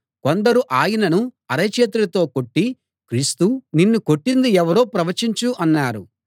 కొందరు ఆయనను అరచేతులతో కొట్టి క్రీస్తూ నిన్ను కొట్టింది ఎవరో ప్రవచించు అన్నారు